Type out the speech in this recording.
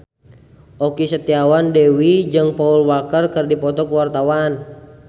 Okky Setiana Dewi jeung Paul Walker keur dipoto ku wartawan